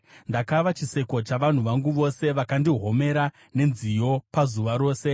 Ndakava chiseko chavanhu vangu vose; vakandihomera nenziyo pazuva rose.